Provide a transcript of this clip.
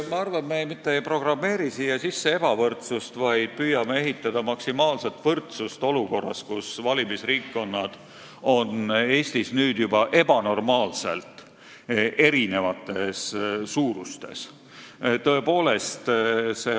Ma arvan, et me mitte ei programmeeri siia sisse ebavõrdsust, vaid püüame luua maksimaalset võrdsust olukorras, kus valimisringkonnad on Eestis juba ebanormaalselt erineva suurusega.